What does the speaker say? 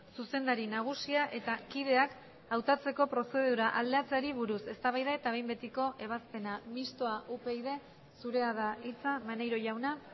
zuzendari nagusia eta kideak hautatzeko prozedura aldatzeari buruz eztabaida eta behin betiko ebazpena mistoa upyd zurea da hitza maneiro jauna